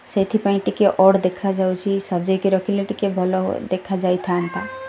ସେଥି ପାଇଁ ଟିକେ ଅଡ଼୍ ଦେଖା ଯାଉଚି ସଜେଇ କି ରଖିଲେ ଟିକେ ଭଲ ଦେଖା ଳଯାଇଥାନ୍ତା।